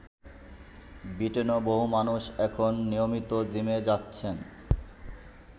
ব্রিটেনেও বহু মানুষ এখন নিয়মিত জিমে যাচ্ছেন।